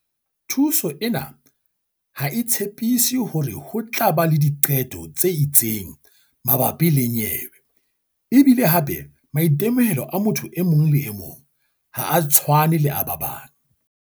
"Thuso ena ha e tshepiso hore ho tla ba le diqeto tse itseng mabapi le nyewe e bile hape maitemohelo a motho e mong le e mong ha a tshwane le a ba bang."